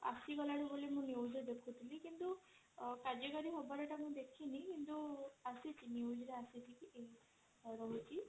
ଆସିଗଲାଣି ବୋଲି ମୁଁ newsରେ ଦେଖୁଥିଲି କିନ୍ତୁ କାର୍ଯ୍ୟକାରୀ ହବରେ ମୁଁ ଦେଖିନି କିନ୍ତୁ ଆସିଛି newsରେ ଆସିଛି